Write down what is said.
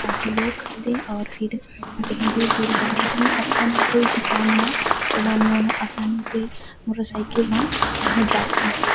ताकि लोग खरीदे और फिर कही दूर-दूर जा सके अपन कोई भी काम म ओमन आसानी से मोटर साइकिल से पहुंच जाथे।